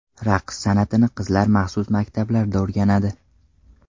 Raqs san’atini qizlar maxsus maktablarda o‘rganadi.